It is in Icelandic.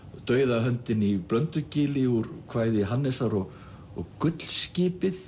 dauða höndin í úr kvæði Hannesar og og